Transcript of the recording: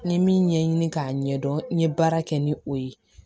N ye min ɲɛɲini k'a ɲɛdɔn n ye baara kɛ ni o ye